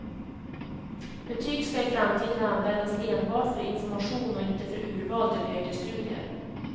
Betyg skall i framtiden användas enbart för information och inte för urval till högre studier.